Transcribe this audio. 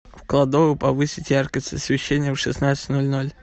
в кладовой повысить яркость освещения в шестнадцать ноль ноль